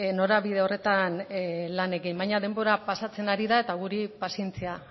norabidera horretan lan egin baina denbora pasatzen ari da eta guri pazientzia